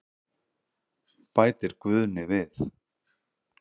Bætir Guðni við.